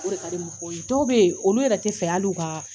Dɔw bɛ yen olu yɛrɛ tɛ fɛ hali ka